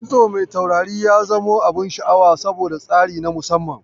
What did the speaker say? Kitso mai taurari ya zamo abun sha'awa, saboda tsari na musamman.